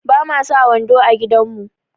Ba mu sa wando a gidan mu.